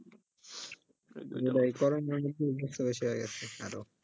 ওটাই corona এর জন্য অভ্যাস টা বেশি হয়ে গেছে আরও